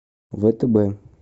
втб